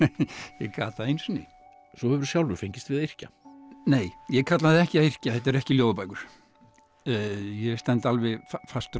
ég gat það einu sinni svo hefurðu sjálfur fengist við að yrkja nei ég kalla það ekki að yrkja þetta eru ekki ljóðabækur ég stend alveg fastur á